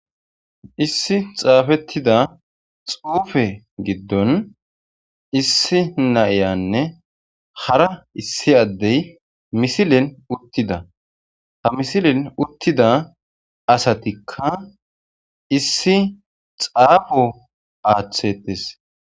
Issi xaafettida xuufe giddon issi naiyanne hara issi addey misilen uttida ha misilen uttida asatikka issi xaafo aaththetes.